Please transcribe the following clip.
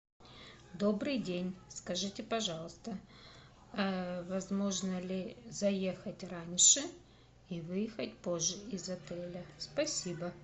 добрый день скажите пожалуйста возможно ли заехать раньше и выехать позже из отеля спасибо